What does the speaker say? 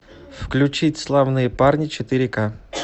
включить славные парни четыре ка